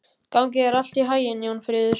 Gangi þér allt í haginn, Jónfríður.